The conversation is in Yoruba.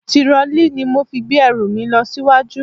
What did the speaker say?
Tirọlí ni mo fi gbé ẹrù mi lọ síwájú.